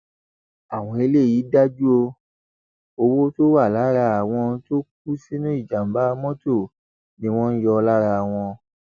àwọn eléyìí dájú o owó tó wà lára àwọn tó kú sínú ìjàmbà mọtò ni wọn ń yọ lára wọn